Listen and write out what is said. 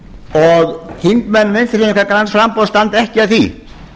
og þingmenn vinstri hreyfingarinnar græns framboðs standa ekki að því